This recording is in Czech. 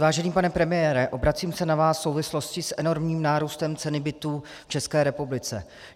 Vážený pane premiére, obracím se na vás v souvislosti s enormním nárůstem ceny bytů v České republice.